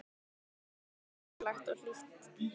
Hvað það var ævintýralegt og hlýtt.